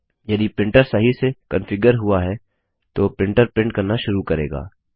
यदि प्रिंटर सही से कन्फिग्यर हुआ है तो प्रिंटर प्रिंट करना शुरू करेगा